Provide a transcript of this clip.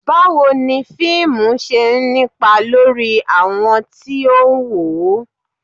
Báwo ni fíìmù ṣe ń nípa lórí àwọn tí ó ń wò ó